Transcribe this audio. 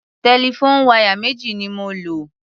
Telephone wire méjì ni mo lò.